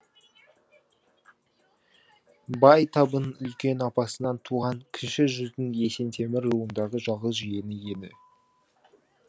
бай табын үлкен апасынан туған кіші жүздің есентемір руындағы жалғыз жиені еді